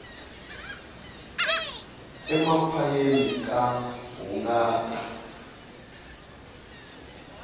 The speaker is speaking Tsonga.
emakhwayeni ka hungata